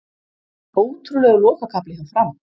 Ótrúlegur lokakafli hjá Fram